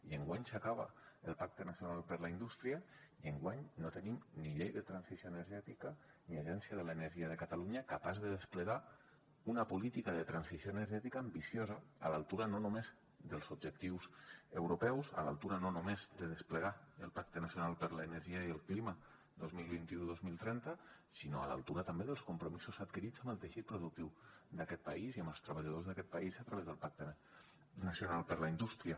i enguany s’acaba el pacte nacional per a la indústria i enguany no tenim ni llei de transició energètica ni agència de l’energia de catalunya capaç de desplegar una política de transició energètica ambiciosa a l’altura no només dels objectius europeus a l’altura no només de desplegar el pacte nacional per a l’energia i el clima dos mil vint u dos mil trenta sinó a l’altura també dels compromisos adquirits amb el teixit productiu d’aquest país i amb els treballadors d’aquest país a través del pacte nacional per a la indústria